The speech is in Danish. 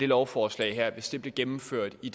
lovforslag hvis det blev gennemført i